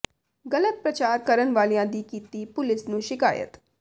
ਗ਼ਲਤ ਪ੍ਰਚਾਰ ਕਰਨ ਵਾਲਿਆਂ ਦੀ ਕੀਤੀ ਪੁਲਿਸ ਨੂੰ ਸ਼ਿਕਾਇਤ